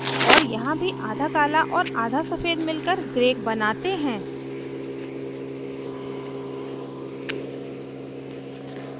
और यहाँ भी आधा काला और आधा सफ़ेद मिलकर gray बनाते हैं